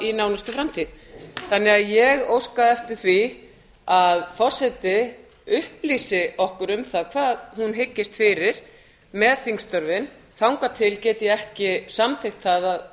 í nánustu framtíð ég óska því eftir því að forseti upplýsi okkur um það hvað hún hyggist fyrir með þingstörfin þangað til get ég ekki samþykkt það